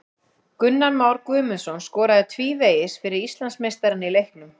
Gunnar Már Guðmundsson skoraði tvívegis fyrir Íslandsmeistarana í leiknum.